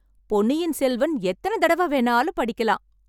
பொன்னியின் செல்வன் எத்தனை தடவை வேணாலும் படிக்கலாம்.